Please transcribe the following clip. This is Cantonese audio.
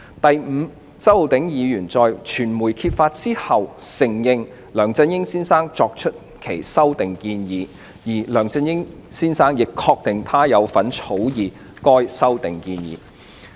第五，周議員在傳媒揭發後，承認梁先生作出有關的修訂建議，而梁先生亦確定他有份草擬修訂建議的文件。